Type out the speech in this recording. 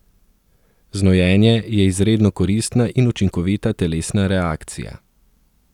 Znojenje je izredno koristna in učinkovita telesna reakcija.